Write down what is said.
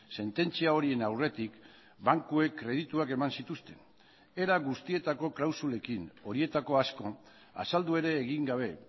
sententzia horien aurretik bankuek kredituak eman zituzten era guztietako klausulekin horietako asko azaldu ere egin gabe